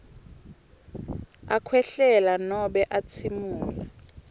akhwehlela nobe atsimula